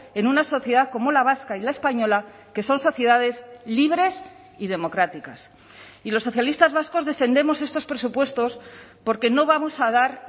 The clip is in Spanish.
en una sociedad como la vasca y la española que son sociedades libres y democráticas y los socialistas vascos defendemos estos presupuestos porque no vamos a dar